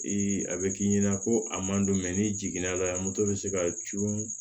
I a be k'i ɲɛna ko a man don n'i jigin n'a la bɛ se ka cun